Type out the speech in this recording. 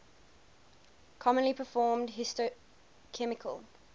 commonly performed histochemical